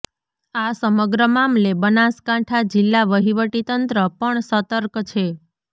આ સમગ્ર મામલે બનાસકાંઠા જિલ્લા વહીવટી તંત્ર પણ સતર્ક છે